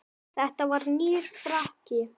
Þetta var nýr frakki.